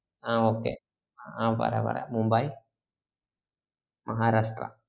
ആഹ് okay പറ പറ Mumbai Maharashtra